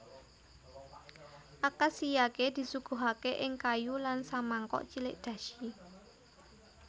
Akashiyake disuguhake ing kayu lan samangkok cilik dashi